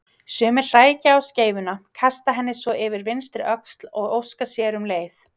Sumir hrækja á skeifuna, kasta henni svo yfir vinstri öxlina og óska sér um leið.